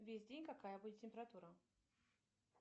весь день какая будет температура